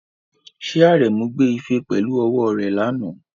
Ṣé Aremu gbé ife pẹ̀lú ọwọ́ rẹ̀ lánàá?